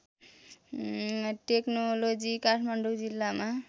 technology Kathmandu जिल्लामा